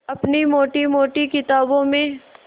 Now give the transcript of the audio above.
अपनी मोटी मोटी किताबों में